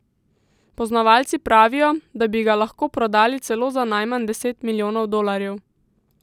Poznavalci pravijo, da bi ga lahko prodali celo za najmanj deset milijonov dolarjev!